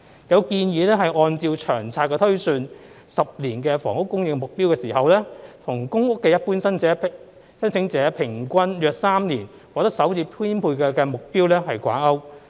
有建議按照《長遠房屋策略》推算10年房屋供應目標的時候，與公屋一般申請者平均約3年獲得首次編配的目標掛鈎。